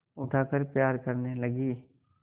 उठाकर प्यार करने लगी